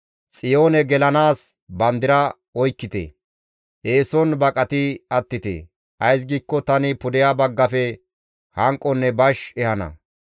Xiyoone gelanaas bandira oykkite! eeson baqati attite; Ays giikko tani pudeha baggafe hanqonne bash ehana.